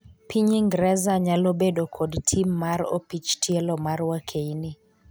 Piny Ingreza nyalo bedo kod tim mar opich tielo mar wakeini